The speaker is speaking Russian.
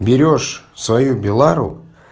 берёшь свою белару